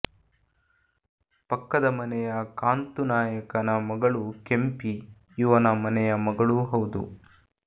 ಪಕ್ಕದ ಮನೆಯ ಕಾಂತುನಾಯಕನ ಮಗಳು ಕೆಂಪಿ ಇವನ ಮನೆಯ ಮಗಳೂ ಹೌದು